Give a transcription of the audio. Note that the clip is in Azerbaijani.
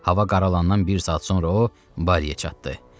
Hava qaralandan bir saat sonra o Bariyə çatdı.